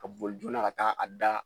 Ka boli joona ka taa a da